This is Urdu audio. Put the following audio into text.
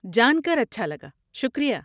جان کر اچھا لگا، شکریہ۔